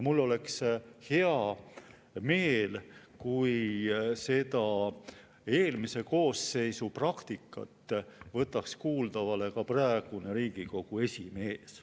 Mul oleks hea meel, kui seda eelmise koosseisu praktikat võtaks kuulda ka praegune Riigikogu esimees.